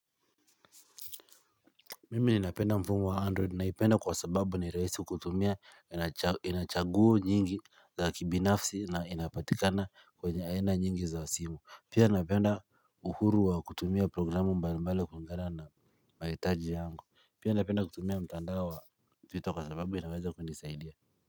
Mimi napenda mfumo wa android naipenda kwa sababu ni rahisi kutumia ina chaguo nyingi za kibinafsi na inapatikana kwenye aina nyingi za simu Pia napenda uhuru wa kutumia programu mbalo mbalo kulingana na mahitaji yangu Pia napenda kutumia mtandao wa twitter kwa sababu inaweza kunisaidia.